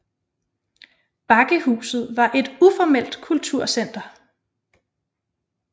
Bakkehuset var var et uformelt kulturcenter